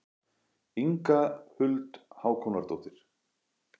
Inga Huld Hákonardóttir.